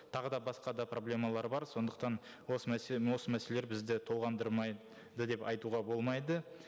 тағы да басқа да проблемалар бар сондықтан осы мәселе осы мәселелер бізді толғандырмайды деп айтуға болмайды